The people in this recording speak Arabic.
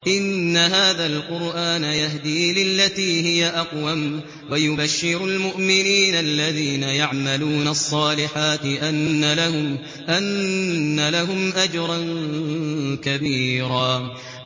إِنَّ هَٰذَا الْقُرْآنَ يَهْدِي لِلَّتِي هِيَ أَقْوَمُ وَيُبَشِّرُ الْمُؤْمِنِينَ الَّذِينَ يَعْمَلُونَ الصَّالِحَاتِ أَنَّ لَهُمْ أَجْرًا كَبِيرًا